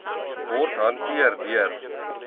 word hanteer deur